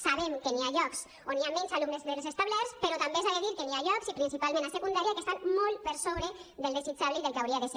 sabem que hi ha llocs on hi ha menys alumnes dels establerts però també s’ha de dir que hi ha llocs i principalment a secundària que estan molt per sobre del desitjable i del que hauria de ser